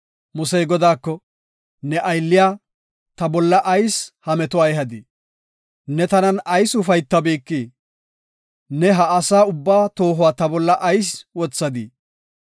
Musey Godaako, “Ne aylliya, ta bolla ayis ha metuwa ehadii? Ne tanan ayis ufaytabikii? Ne ha asa ubbaa toohuwa ta bolla ayis wothadii?